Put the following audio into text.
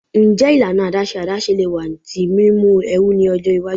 Njẹ ilana adaṣe adaṣe le wa ti mimu ẹru ni ọjọ iwaju?